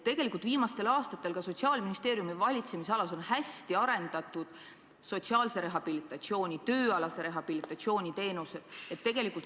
Tegelikult on viimastel aastatel ka Sotsiaalministeeriumi valitsemisalas hästi arendatud sotsiaalse rehabilitatsiooni, tööalase rehabilitatsiooni teenuseid.